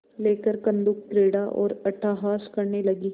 लेकर कंदुकक्रीड़ा और अट्टहास करने लगी